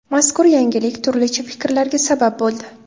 Mazkur yangilik turlicha fikrlarga sabab bo‘ldi.